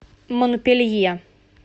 монпелье